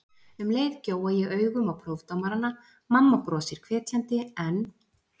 Um leið gjóa ég augum á prófdómarana: mamma brosir hvetjandi en